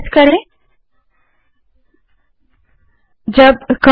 बड़े अक्षर में और एंटर दबायें